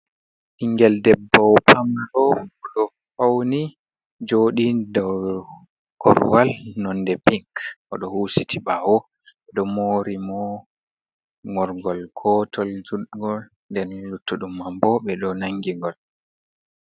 Bigel ɗebbo pamaro oɗo fauni joɗi dow korwal nonde pink, oɗo husiti ɓawo ɗo mori mo morgol gotol judgol nden luttudum mambo be do nangi ngol.